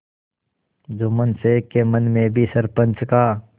जुम्मन शेख के मन में भी सरपंच का